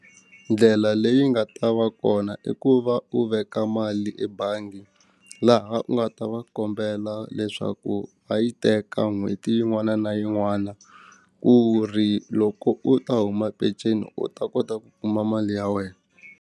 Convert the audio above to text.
Ndlela leyi nga ta va kona i ku va u veka mali ebangi laha u nga ta va kombela leswaku va yi teka n'hweti yin'wana na yin'wana ku ri loko u ta huma penceni u ta kota ku kuma mali ya wena.